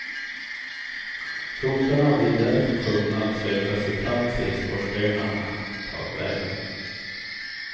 Sotarna blir därför tvungna att söka sig fram till skorstenarna takvägen.